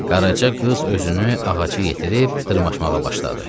Qaraca qız özünü ağacı yetirib dırmaşmağa başladı.